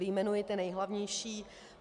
Vyjmenuji ty nejhlavnější.